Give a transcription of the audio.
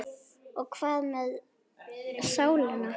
Og hvað með sálina?